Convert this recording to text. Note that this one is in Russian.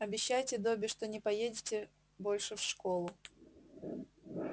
обещайте добби что не поедете больше в школу